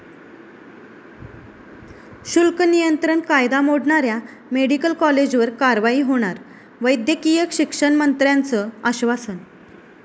शुल्क नियंत्रण कायदा मोडणाऱ्या मेडिकल कॉलेजवर कारवाई होणार, वैद्यकीय शिक्षणमंत्र्यांचं आश्वासन